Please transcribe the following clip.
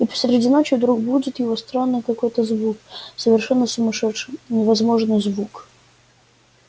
и посреди ночи вдруг будит его странный такой звук совершенно сумасшедший невозможный звук